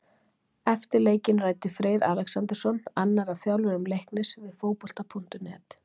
Eftir leikinn ræddi Freyr Alexandersson, annar af þjálfurum Leiknis, við Fótbolta.net.